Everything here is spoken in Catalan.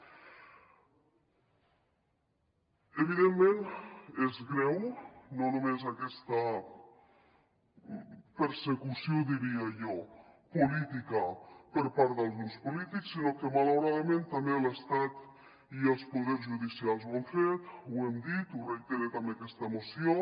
evidentment és greu no només aquesta persecució diria jo política per part dels grups polítics sinó que malauradament també l’estat i els poders judicials ho han fet ho hem dit ho hem reiterat amb aquesta moció